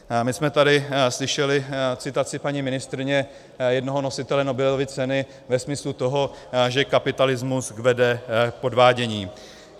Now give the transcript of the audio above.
My jsme tady slyšeli citaci paní ministryně jednoho nositele Nobelovy ceny ve smyslu toho, že kapitalismus vede k podvádění.